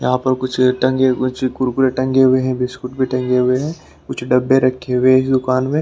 यहां पर कुछ टंगे हुए है चिप्स कुरकुरे टंगे हुए हैं बिस्कुट भी टंगे हुए हैं कुछ डब्बे रखे हुए हैं दुकान में --